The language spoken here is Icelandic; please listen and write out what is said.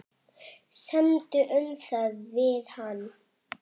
Semdu um það við hann.